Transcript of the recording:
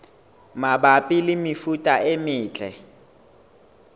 mabapi le mefuta e metle